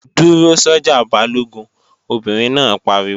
Dúró sọ́jà Balógun, Obìnrin náà pariwo!